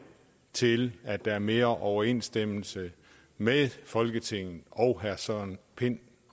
til at der er mere overensstemmelse mellem folketinget og herre søren pind